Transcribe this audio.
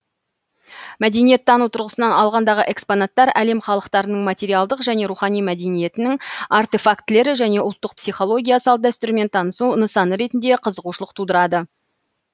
мәдениеттану тұрғысынан алғандағы экспонаттар әлем халықтарының материалдық және рухани мәдениетінің артефактілері және ұлттық психология салт дәстүрмен танысу нысаны ретінде қызығушылық тудырады